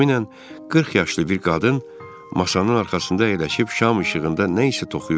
Təxminən 40 yaşlı bir qadın masanın arxasında əyləşib şam işığında nə isə toxuyurdu.